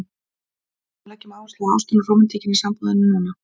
Finnum og leggjum áherslu á ástina og rómantíkina í sambúðinni núna!